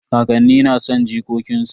Kakanni na son jikokin su.